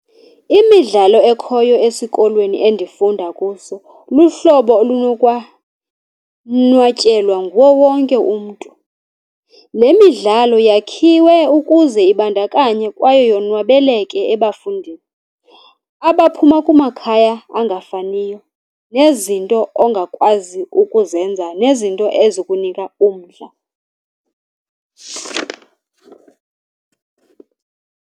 Imidlalo ekhoyo esikolweni endifunda kuso luhlobo olunokwanwatyelwa nguwo wonke umntu. Le midlalo yakhiwe ukuze ibandakanye kwaye yonwabeleke ebafundini abaphuma kumakhaya angafaniyo, nezinto ongakwazi ukuzenza nezinto ezukunika umdla.